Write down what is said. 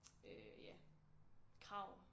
Øh ja krav